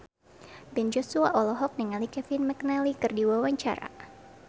Ben Joshua olohok ningali Kevin McNally keur diwawancara